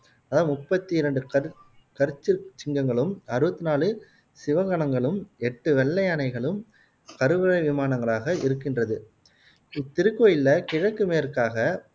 அதாவது முப்பத்து ரெண்டு கற்சு கற்சு சிங்கங்களும் அறுவத்து நாலு சிவகனங்களும் எட்டு வெள்ளை யானைகளும் கருவறை விமானங்களாக் இருக்கின்றது இத்திருக்கோயில்ல கிழக்கு மேற்காக